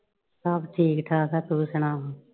ਸਭ ਠੀਕ ਠਾਕ ਆ ਤੂੰ ਸੁਣਾ ਹੋਰ।